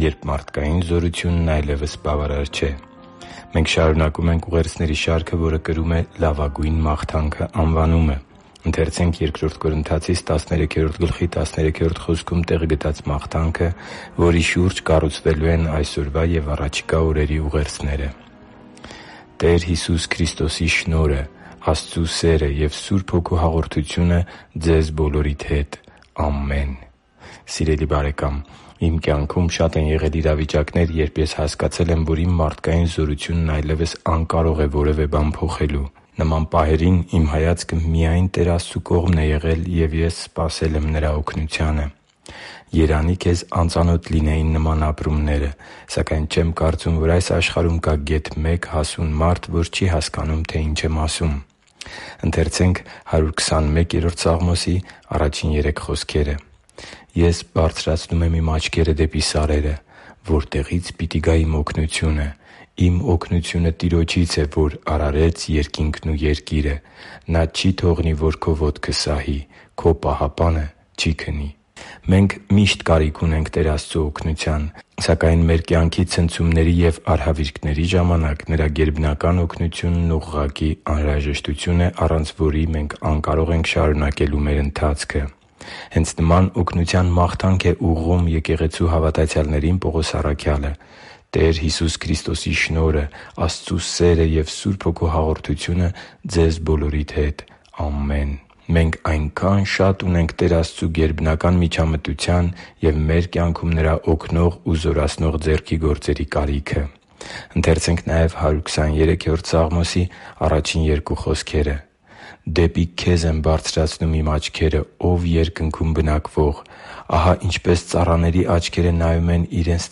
Երբ մարդկային զորությունն այլևս բավարար չէ․․․ Մենք շարունակում ենք ուղերձների շարքը, որը կրում է «Լավագույն մաղթանքը» անվանումը։ Ընթերցե՛նք Բ Կորնթացիս 13:13 խոսքում տեղ գտած մաղթանքը, որի շուրջ կառուցվելու են այսօրվա և առաջիկա օրերի ուղերձները․ «Տեր Հիսուս Քրիստոսի շնորհը, Աստծու սերը և Սուրբ Հոգու հաղորդությունը ձեզ բոլորիդ հետ։ Ամեն» (Բ Կորնթացիս 13․13): Սիրելի՛ բարեկամ, իմ կյանքում շատ են եղել իրավիճակներ, երբ ես հասկացել եմ, որ իմ մարդկային զորությունն այլևս անկարող է որևէ բան փոխելու։ Նման պահերին իմ հայացքը միայն Տեր Աստծու կողմն է եղել, և ես սպասել եմ Նրա օգնությանը։ Երանի՜ քեզ անծանոթ լինեին նման ապրումները։ Սակայն չեմ կարծում, որ այս աշխարհում կա գեթ մեկ հասուն մարդ, որ չի հասկանում, թե ի՛նչ եմ ասում։ «Ես բարձրացնում եմ իմ աչքերը դեպի սարերը. որտեղի՞ց պիտի գա իմ օգնությունը։ Իմ օգնությունը Տիրոջից է, որ արարեց երկինքն ու երկիրը։ Նա չի թողնի, որ քո ոտքը սահի. քո պահապանը չի քնի» (Սաղմոս 121․1-3): Մենք միշտ կարիք ունենք Տեր Աստծու օգնության, սակայն մեր կյանքի ցնցումների և արհավիրքների ժամանակ Նրա գերբնական օգնությունն ուղղակի անհրաժեշտություն է, առանց որի մենք անկարող ենք շարունակելու մեր ընթացքը: Հենց նման օգնության մաղթանք է ուղղում եկեղեցու հավատացյալներին Պողոս առաքյալը․ «Տեր Հիսուս Քրիստոսի շնորհը, Աստծու սերը և Սուրբ Հոգու հաղորդությունը ձեզ բոլորիդ հետ։ Ամեն»։ Մենք այնքա՜ն ունենք Տեր Աստծու գերբնական միջամտության և մեր կյանքերում Նրա օգնող ու զորացնող ձեռքի գործերի կարիքը։ «Դեպի Քեզ եմ բարձրացնում իմ աչքերը, Ո՛վ երկնքում բնակվող։ Ահա ինչպես ծառաների աչքերը նայում են իրենց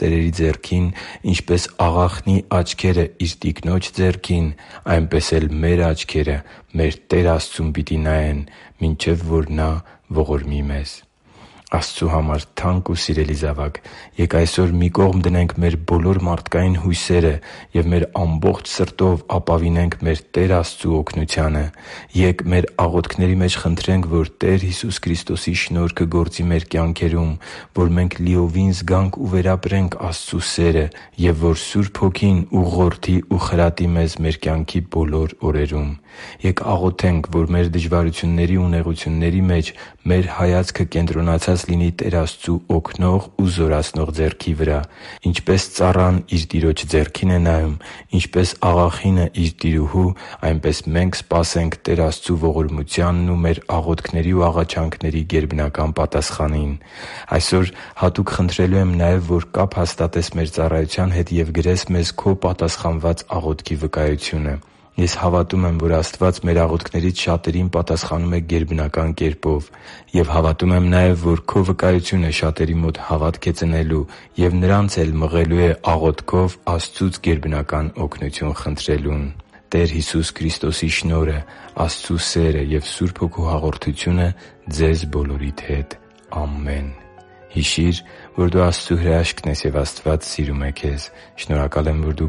տերերի ձեռքին, ինչպես աղախնի աչքերը իր տիկնոջ ձեռքին, այնպես էլ մեր աչքերը՝ մեր Տեր Աստծուն պիտի նայեն, մինչև որ մեզ ողորմի» (Սաղմոս 123․1-2): Աստծու համար թանկ ու սիրելի՛ զավակ, ե՛կ այսօր մի կողմ դնենք մեր բոլոր մարդկային հույսերը և մեր ամբողջ սրտով ապավինենք մեր Տեր Աստծու օգնությանը։ Ե՛կ մեր աղոթքների մեջ խնդրենք, որ Տեր Հիսուս Քրիստոսի շնորհքը գործի մեր կյանքերում, որ մենք լիովին զգանք ու վերապրենք Աստծու սերը և որ Սուրբ Հոգին ուղղորդի և խրատի մեզ մեր կյանքի բոլոր օրերում։ Ե՛կ աղոթենք, որ մեր դժվարությունների ու նեղությունների մեջ մեր հայացքը կենտրոնացած լինի Տեր Աստծու օգնող ու զորացնող ձեռքի վրա։ Ինչպես ծառան իր տիրոջ ձեռքին է նայում, ինչպես աղախինը՝ իր տիրուհու, այնպես մենք սպասենք Տեր Աստծու ողորմությանն ու մեր աղոթքների և աղաչանքների գերբնական պատասխանին։ Այսօր հատուկ խնդրելու եմ նաև, որ կապ հաստատես մեր ծառայության հետ և գրես մեզ քո պատասխանված աղոթքի վկայությունը։ Ես հավատում եմ, որ Աստված մեր աղոթքներից շատերին պատասխանում է գերբնական կերպով։ Եվ հավատում եմ նաև, որ քո վկայությունը շատերի մոտ հավատք է ծնելու և նրանց էլ մղելու է աղոթքով Աստծուց գերբնական օգնություն խնդրելուն։ «Տեր Հիսուս Քրիստոսի շնորհը, Աստծու սերը և Սուրբ Հոգու հաղորդությունը ձեզ բոլորիդ հետ։ Ամեն»։ Հիշի՛ր, որ դու Աստծո հրաշքն ես, և Աստված սիրում է քեզ։ Շնորհակալ եմ, որ դու